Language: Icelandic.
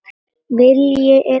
Vilji er allt sem þarf